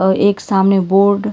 और एक सामने बोर्ड --